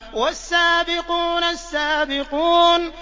وَالسَّابِقُونَ السَّابِقُونَ